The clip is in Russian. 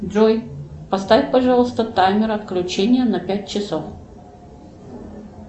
джой поставь пожалуйста таймер отключения на пять часов